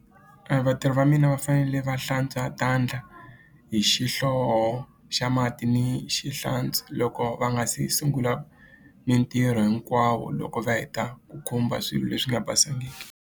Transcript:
vatirhi va mina va fanele va hlantswa hi xihlovo xa mati ni xi hlantswa loko va nga se sungula mintirho hinkwawo loko va heta ku khumba swilo leswi nga basangiki.